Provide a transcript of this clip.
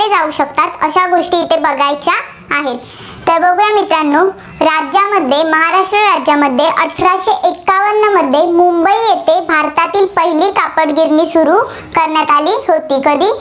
जाऊ शकतात. अशा गोष्टी इथं बघायच्या आहेत. तर बघा मित्रांनो राज्यामध्ये महाराष्ट्र राज्यामध्ये अठराशे एकावन्नमध्ये मुंबई येथे भारतातील पहिली कापडगिरणी सुरू करण्यात आली होती. कधी?